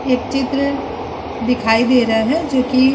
एक चित्र दिखाई दे रहा है जोकि --